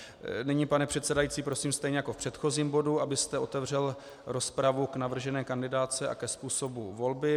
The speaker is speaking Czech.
Nyní, pane předsedající, prosím stejně jako v předchozím bodu, abyste otevřel rozpravu k navržené kandidátce a ke způsobu volby.